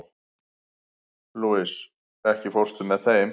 Louisa, ekki fórstu með þeim?